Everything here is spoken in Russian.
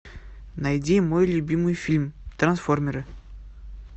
найди мой любимый фильм трансформеры